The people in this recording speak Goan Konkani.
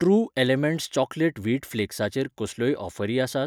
ट्रू एलिमेंट्स चॉकलेट वीट फ्लेक्साचेर कसल्योय ऑफरी आसात ?